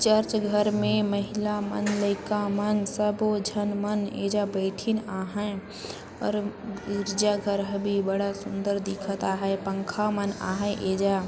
church घर मे महिला मन लइका मन सबो झन मन एजा बइठिन आहय और गिरजाघर ह बी बड़ा सुंदर दिखत आहय पंखा मन आहय एजा--